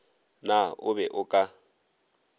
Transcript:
na o be o ka